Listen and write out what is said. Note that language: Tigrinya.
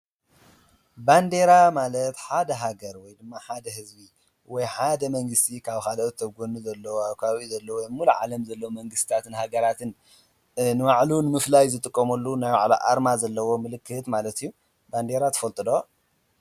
ባንዴራ ማለት ሓደ ሃገር ወይ ድማ ሓደ ህዝቢ ወይ ሓደ መንግስቲ ካብ ካልኦት ኣብ ጎኑ ዘለዋ ኣብ ከባቢኡ ዘለዋ ወይ ኣብ ሙሉእ ዓለም ዘለዋ መንግስታትን ሃገራትን ንባዕሉ ንምፍላይ ዝጥቀመሉ ናይ ባዕሉ ኣርማ ዘለዎ ምልክት ማለት እዩ፡፡ ባንዴራ ትፈልጡ ዶ?